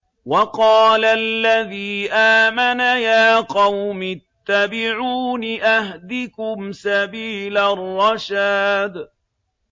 وَقَالَ الَّذِي آمَنَ يَا قَوْمِ اتَّبِعُونِ أَهْدِكُمْ سَبِيلَ الرَّشَادِ